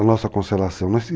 A nossa constelação.